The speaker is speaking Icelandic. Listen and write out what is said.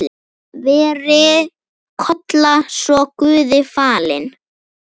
Veri Kolla svo Guði falin.